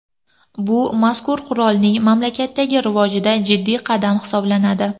Bu mazkur qurolning mamlakatdagi rivojida jiddiy qadam hisoblanadi.